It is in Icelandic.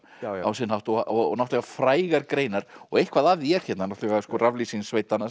á sinn hátt og náttúrulega frægar greinar og eitthvað af því er hérna náttúrulega raflýsing sveitanna